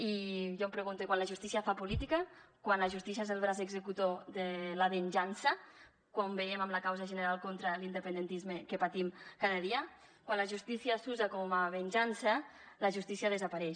i jo em pregunto i quan la justícia fa política quan la justícia és el braç executor de la venjança com veiem en la causa general contra l’independentisme que patim cada dia quan la justícia s’usa com a venjança la justícia desapareix